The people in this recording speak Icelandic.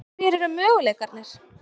Hverjir eru möguleikarnir?